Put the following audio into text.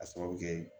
A sababu kɛ